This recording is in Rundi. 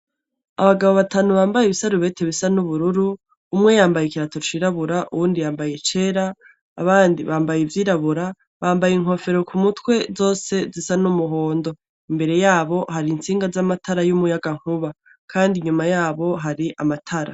Abagabo batanu bambaye ibisarubeti bisa n'ubururu, umwe yambaye ikirato cirabura uwundi yambaye icera, abandi bambaye ivyirabura, bambaye inkofero k'umutwe zose zisa n'umuhondo. Imbere yabo hari intsinga z'amatara y'umuyagankuba. Kandi inyuma yabo hari amatara.